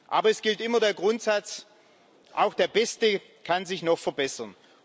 Aber es gilt immer der Grundsatz Auch der Beste kann sich noch verbessern.